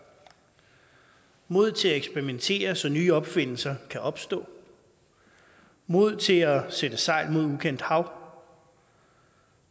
mod til at eksperimentere så nye opfindelser kan opstå mod til at sætte sejl mod ukendt hav